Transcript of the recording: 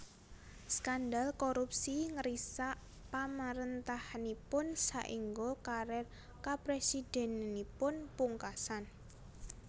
Skandal korupsi ngrisak pamarèntahanipun saèngga karier kapresidenanipun pungkasan